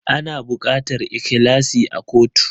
Ana bukatar ikhlasi a kotu